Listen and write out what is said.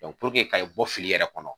puruke ka i bɔ fili yɛrɛ kɔnɔ.